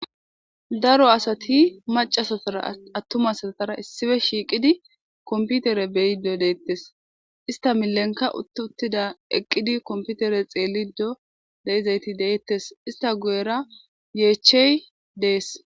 Daro asati macca asatara attuma asatara issippe shiiqidi compitere be7ide de7etees. Ista milenikka utu utida ,eqidi compitire xeelido de7izayithi de7etees. Ista guyera yeechche de7ees.